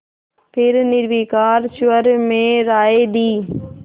फिर निर्विकार स्वर में राय दी